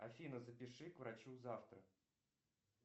афина запиши к врачу завтра